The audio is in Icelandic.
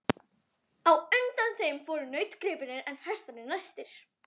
Á undan þeim fóru nautgripirnir en hestarnir næstir.